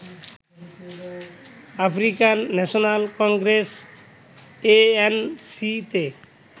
African National Congress ANC তে